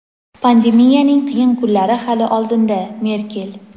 Pandemiyaning qiyin kunlari hali oldinda – Merkel.